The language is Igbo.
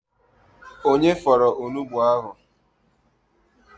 Onye fọrọ onugbụ ahụ?